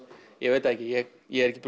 ég veit það ekki ég ég er ekki